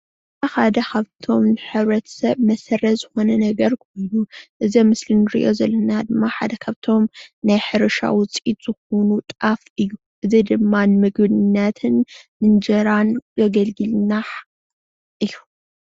ብሓደ ካብቶም ንሕብረተሰብ መሰረት ዝኮነ ነገር ኩሉ እዚ ኣብ ምስሊ እንርእዮ ዘለና ሓደ ካብቶም ናይ ሕርሻ ውፅኢት ዝኮኑ ጣፍ እዩ:: እዚ ድማ ንምግብነትን ንእንጅራን ዘገልግለና እዩ::